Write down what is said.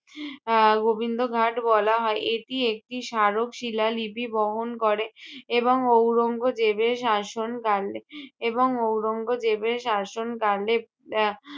আহ গোবিন্দ ঘাট বলা হয়। এটি একটি স্মারক শিলা লিপি বহন করে এবং ঔরঙ্গজেবের শাসনকালে এবং ঔরঙ্গজেবের শাসনকালে আহ